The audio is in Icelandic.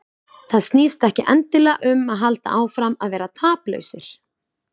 Það snýst ekki endilega um að halda áfram að vera taplausir.